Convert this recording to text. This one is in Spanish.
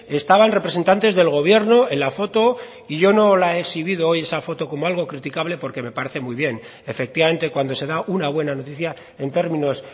estaban representantes del gobierno en la foto y yo no la he exhibido hoy esa foto como algo criticable porque me parece muy bien efectivamente cuando se da una buena noticia en términos